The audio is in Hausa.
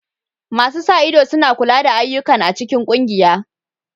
Masu sa ido suna kula da ayyukan a cikin ƙungiya.